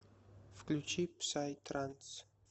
включи псай транс